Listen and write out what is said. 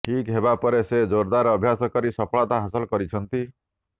ଠିକ ହେବା ପରେ ସେ ଜୋରଦାର ଅଭ୍ୟାସ କରି ସପଳତା ହାସଲ କରିଛନ୍ତି